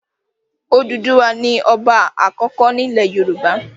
Odùduwà ní ọba àkọ́kọ́ ní ilẹ̀ yoòbá